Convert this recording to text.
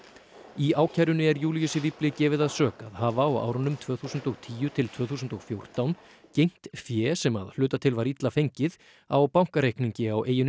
í ákærunni er Júlíusi gefið að sök að hafa á árunum tvö þúsund og tíu til tvö þúsund og fjórtán geymt fé sem að hluta til var illa fengið á bankareikningi á eyjunni